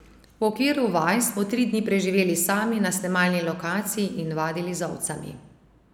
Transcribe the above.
V okviru vaj smo tri dni preživeli sami na snemalni lokaciji in vadili z ovcami.